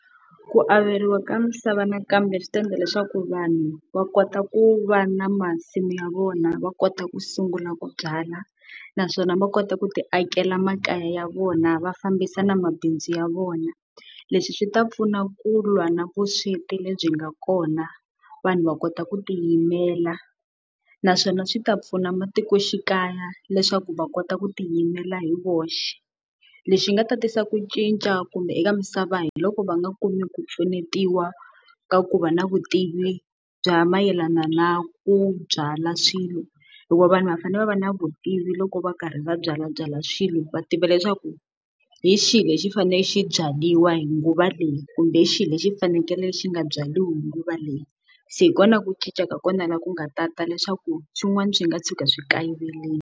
Ku averiwa ka misava nakambe swi ta endla leswaku vanhu va kota ku va na masimu ya vona va kota ku sungula ku byala, naswona va kota ku ti akela makaya ya vona va fambisa na mabindzu ya vona. Leswi swi ta pfuna ku lwa na vusweti lebyi nga kona vanhu va kota ku tiyimela, naswona swi ta pfuna matikoxikaya leswaku va kota ku tiyimela hi voxe. Lexi nga ta tisa ku cinca kumbe eka misava hi loko va nga kumi ku pfunetiwa ka ku va na vutivi bya mayelana na ku byala swilo, hikuva vanhu va fanele va va na vutivi loko va karhi va byalabyala xilo. Va tiva leswaku hi xihi lexi faneleke xi byariwa hi nguva leyi, kumbe xihi lexi xi fanekele xi nga byariwi hi nguva leyi. Se hi kona ku cinca ka kona laha ku nga ta ta leswaku swin'wana swi nga tshuka swi kayiverile.